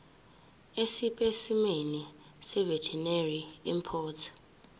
esipesimeni seveterinary import